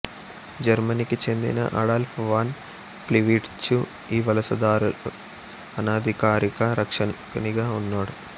జర్మనికి చెందిన Adolf von Plivitz ఈ వలసదారుల అనధికారిక రక్షకునిగా ఉన్నాడు